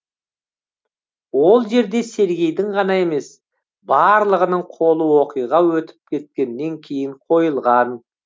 ол жерде сергейдің ғана емес барлығының қолы оқиға өтіп кеткеннен кейін қойылған